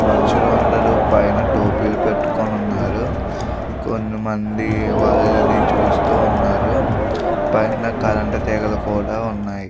మనుషులు అందరూ పైన టోపీలు పెట్టుకుని ఉన్నారు. కొన్ని మంది వాళ్ళని చూస్తూ ఉన్నారు. పైన కరెంట్ తీగలు కూడా ఉన్నాయి.